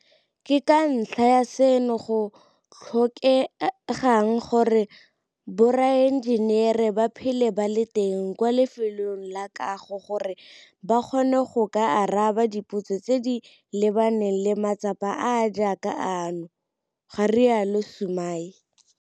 Ke ka ntlha ya seno go tlhokegang gore boraenjenere ba phele ba le teng kwa lefelong la kago gore ba kgone go ka araba dipotso tse di lebaneng le matsapa a a jaaka ano, ga rialo Sumay.